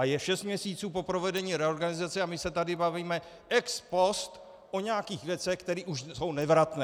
A je šest měsíců po provedení reorganizace a my se tady bavíme ex post o nějakých věcech, které už jsou nevratné.